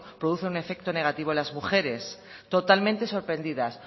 producen un efecto negativo en las mujeres totalmente sorprendidas